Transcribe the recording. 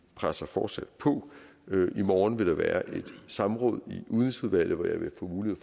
presser fortsat på i morgen vil der være et samråd i udenrigsudvalget hvor jeg vil få mulighed